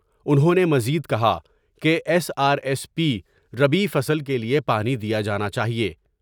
انہوں نے مزید کہا کہ ایس آرایس پی ربیع فصل کے لیے پانی دیا جانا چاہئے ۔